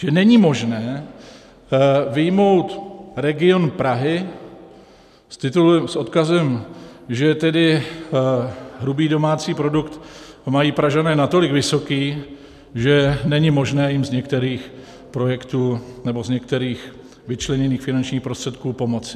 Že není možné vyjmout region Prahy s odkazem, že tedy hrubý domácí produkt mají Pražané natolik vysoký, že není možné jim z některých projektů nebo z některých vyčleněných finančních prostředků pomoci.